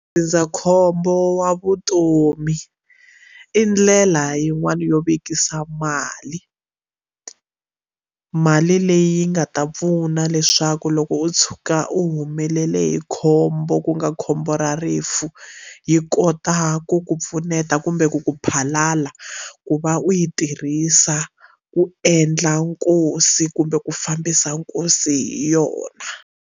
Ndzindzakhombo wa vutomi i ndlela yin'wani yo vekisa mali mali leyi yi nga ta pfuna leswaku loko u tshuka u humelela hi khombo ku nga khombo ra rifu yi kota ku ku pfuneta kumbe ku ku phalaphala ku va u yi tirhisa ku endla nkosi kumbe ku fambisa nkosi hi yona.